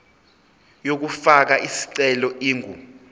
yokufaka isicelo ingu